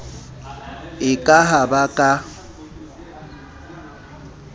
e ka ha ba ka